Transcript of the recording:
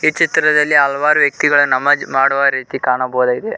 ಚಿತ್ರದಲ್ಲಿ ಹಲವಾರು ವ್ಯಕ್ತಿಗಳು ನಮಾಜ್ ಮಾಡುವ ರೀತಿ ಕಾಣಬೋದಾಗಿದೆ.